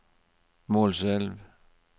Målselv